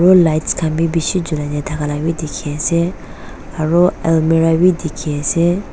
aro lights khan bi bishi julai na thaka laka bi dikhiase aro almira bi dikhiase.